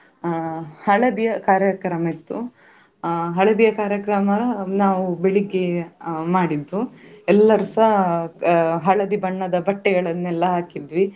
ಹಳದಿಯ ಕಾರ್ಯಕ್ರಮ ಇತ್ತು ಅಹ್ ಹಳದಿಯ ಕಾರ್ಯಕ್ರಮ ನಾವು ಬೆಳಿಗ್ಗೆ ಅಹ್ ಮಾಡಿದ್ದು ಎಲ್ಲರು ಸ ಅಹ್ ಹಳದಿ ಬಣ್ಣದ ಬಟ್ಟೆಗಳನ್ನೆಲ್ಲ ಹಾಕಿದ್ವಿ.